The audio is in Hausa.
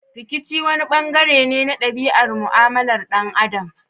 Rikici wani bangare ne na dabi'ar mu'amalar dan Adam.